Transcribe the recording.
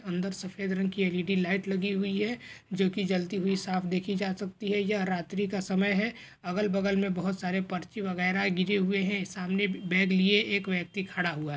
अंदर सफेद रंग की एल.ई.डी. लाइट लगी हुई हैं जो कि जलती हुई साफ देखी जा सकती हैं। यह रात्रि का समय है। अगल-बगल मे बोहोत सारे पर्ची वगेरा गिरे हुए हैं। सामने बैग लिए एक व्यक्ति खड़ा हुआ है।